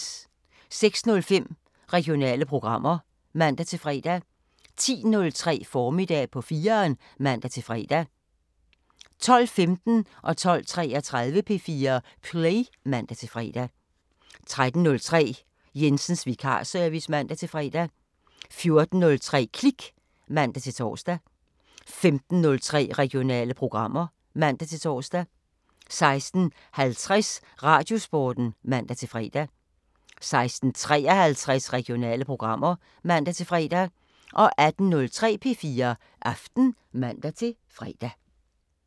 06:05: Regionale programmer (man-fre) 10:03: Formiddag på 4'eren (man-fre) 12:15: P4 Play (man-fre) 12:33: P4 Play (man-fre) 13:03: Jensens vikarservice (man-fre) 14:03: Klik (man-tor) 15:03: Regionale programmer (man-tor) 16:50: Radiosporten (man-fre) 16:53: Regionale programmer (man-fre) 18:03: P4 Aften (man-fre)